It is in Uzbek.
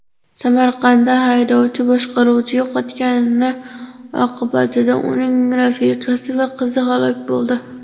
Samarqandda haydovchi boshqaruvchi yo‘qotgani oqibatida uning rafiqasi va qizi halok bo‘ldi.